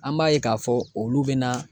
An b'a ye k'a fɔ olu bɛ na.